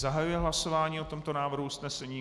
Zahajuji hlasování o tomto návrhu usnesení.